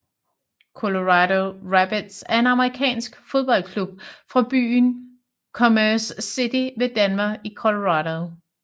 Colorado Rapids er en amerikansk fodboldklub fra byen Commerce City ved Denver i Colorado